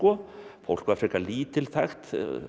fólk var frekar lítilþægt